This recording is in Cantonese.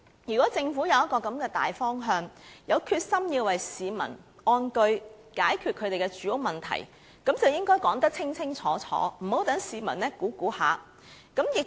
如果政府有這樣一個大方向，有決心讓市民安居，解決他們的住屋問題，便應該說得清清楚楚，不要讓市民胡亂猜想。